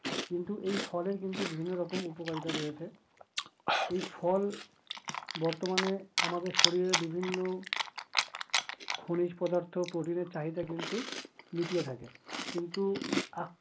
কিন্তু এই ফলের কিন্তু বিভিন্ন রকম উপকারিতা রয়েছে। এই ফল বর্তমানে আমাদের শরীরে বিভিন্ন খনিজ পদার্থ, প্রোটিনের চাহিদা কিন্তু মিটিয়ে থাকে কিন্তু